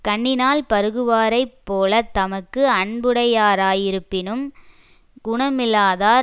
கண்ணினால் பருகுவாரைப் போல தமக்கு அன்புடையரா யிருப்பினும் குணமில்லாதார்